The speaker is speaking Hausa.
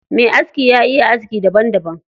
Me aski ya iya aski daban daban.